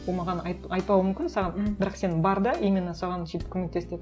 ол маған айтпауы мүмкін саған бірақ сен бар да именно соған сөйтіп көмектес деп